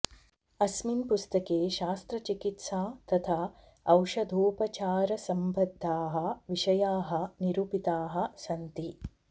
अस्मिन् पुस्तके शस्त्रचिकित्सा तथा औषधोपचारसम्बद्धाः विषयाः निरूपिताः सन्ति